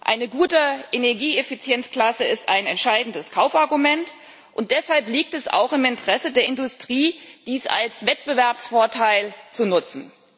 Eine gute Energieeffizienzklasse ist ein entscheidendes Kaufargument, und deshalb liegt es auch im Interesse der Industrie dies als Wettbewerbsvorteil zu nutzen.